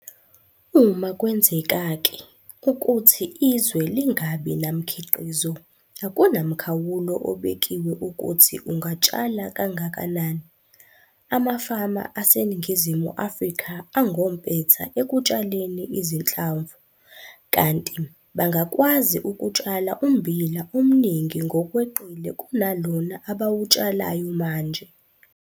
Uma kwenzeka-ke ukuthi izwe lingabi namkhiqizo akunamkhawulo obekiwe ukuthi ungatshala kangakanani. Amafama aseNingizimu Afrika angompetha ekutshaleni izinhlamvu, kanti bangakwazi ukutshala ummbila omningi ngokweqile kunalona abawutshalayo manje.